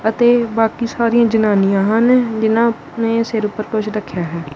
ਅਤੇ ਬਾਕੀ ਸਾਰੀਆਂ ਜਨਾਨੀਆਂ ਹਨ ਜਿਹਨਾਂ ਨੇ ਸਿਰ ਉਪਰ ਕੁੱਛ ਰੱਖੇਆ ਹੋਇਆ ਹੈ।